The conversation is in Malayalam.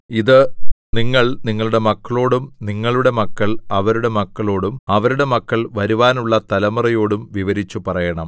ഇത് നിങ്ങൾ നിങ്ങളുടെ മക്കളോടും നിങ്ങളുടെ മക്കൾ അവരുടെ മക്കളോടും അവരുടെ മക്കൾ വരുവാനുള്ള തലമുറയോടും വിവരിച്ചുപറയണം